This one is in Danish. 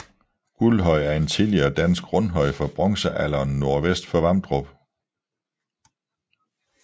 Guldhøj er en tidligere dansk rundhøj fra bronzealderen nordvest for Vamdrup